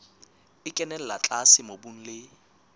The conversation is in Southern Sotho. e kenella tlase mobung le